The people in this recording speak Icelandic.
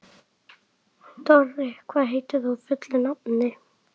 Dorri, hvað heitir þú fullu nafni?